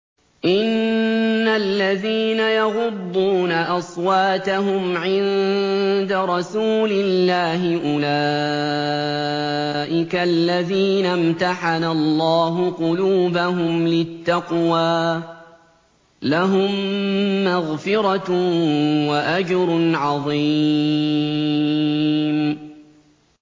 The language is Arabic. إِنَّ الَّذِينَ يَغُضُّونَ أَصْوَاتَهُمْ عِندَ رَسُولِ اللَّهِ أُولَٰئِكَ الَّذِينَ امْتَحَنَ اللَّهُ قُلُوبَهُمْ لِلتَّقْوَىٰ ۚ لَهُم مَّغْفِرَةٌ وَأَجْرٌ عَظِيمٌ